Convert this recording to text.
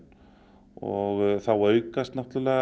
og þá aukast